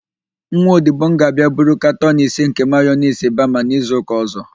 Nwa odibo m ga-abịa buru katọn ise nke mayonis bama n'izuụka ọ̀zọ́.